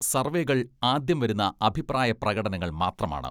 സർവേകൾ ആദ്യം വരുന്ന അഭിപ്രായ പ്രകടനങ്ങൾ മാത്രമാണ്.